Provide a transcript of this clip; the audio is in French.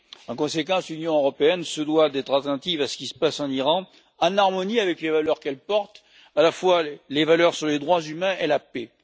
En conséquence, l'Union européenne se doit d'être attentive à ce qui se passe en Iran, en harmonie avec les valeurs qu'elle porte, à la fois les valeurs sur les droits humains et la paix.